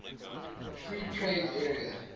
free trade area